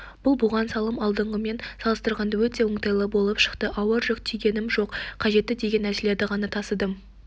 бұл буған салым алдыңғымен салыстырғанда өте оңтайлы болып шықты ауыр жүк тиегенім жоқ қажетті деген нәрселерді ғана тасыдым